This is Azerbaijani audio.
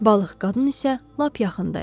Balıq qadın isə lap yaxında idi.